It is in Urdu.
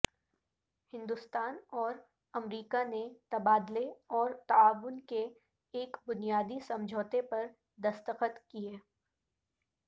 ہندستان اور امریکہ نے تبادلے اور تعاون کے ایک بنیادی سمجھوتے پر دستخط کئے